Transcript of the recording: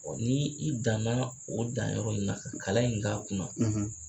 ni i dan na o dan yɔrɔ in na ka kalan in k'a kun na